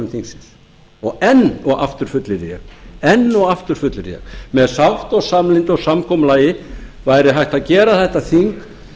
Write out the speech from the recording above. þingsins og enn og aftur fullyrði ég enn og aftur fullyrði ég með sátt og samlyndi og samkomulagi væri hægt að gera þetta þing